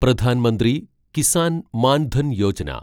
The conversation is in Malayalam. പ്രധാൻ മന്ത്രി കിസാൻ മാൻ ധൻ യോജന